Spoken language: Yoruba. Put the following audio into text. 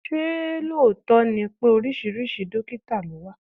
Ṣé lóòótọ́ ni pé oríṣiríṣi dọ́kítà ló wà?